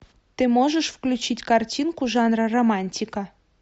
ты можешь включить картинку жанра романтика